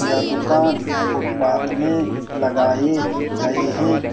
यह दुकान फूटपाथ में लगाई गई है।